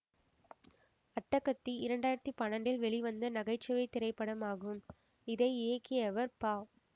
அட்டகத்தி இரண்டு ஆயிரத்தி பண்ணாண்டில் வெளிவந்த நகைச்சுவை திரைப்படமாகும் இதை இயக்கியவர் பா